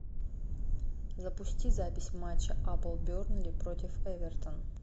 запусти запись матча апл бернли против эвертон